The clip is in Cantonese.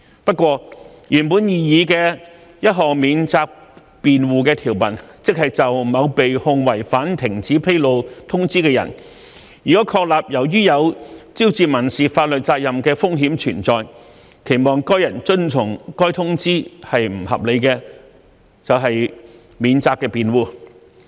不過，原本擬議的條文中，有一項免責辯護，即就某被控違反停止披露通知的人，如確立由於有招致民事法律責任的風險存在，期望該人遵從該通知是不合理的，即為免責辯護。